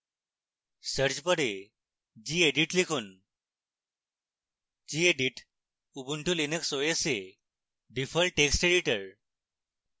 search bar gedit লিখুন gedit ubuntu linux os এ default text editor